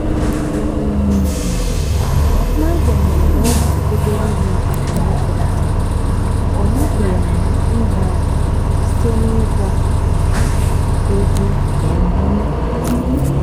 n'agbanyeghị na ọ bụ obere ihe ka anyị kọpụtara ọ napụghị anyị inwe aṅụrị site n'ịgba um egwu na ịmụ amụ.